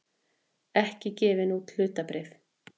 ekki gefin út hlutabréf.